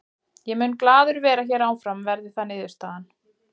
Ég mun glaður vera hér áfram verði það niðurstaðan.